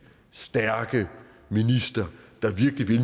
stærke minister der virkelig